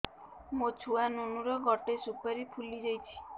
ମୋ ଛୁଆ ନୁନୁ ର ଗଟେ ସୁପାରୀ ଫୁଲି ଯାଇଛି